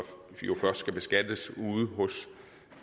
først skal beskattes ude hos